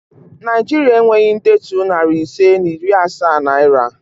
Naịjiria enweghị ndetu nari ise na iri asaa naira